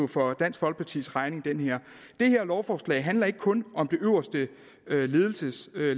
for dansk folkepartis regning det her lovforslag handler ikke kun om det øverste ledelseslag